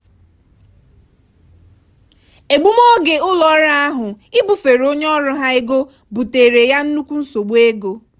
egbumoge ụlọọrụ ahụ ibufere onye ọrụ ha ego buteere ya nnukwu nsogbu ego.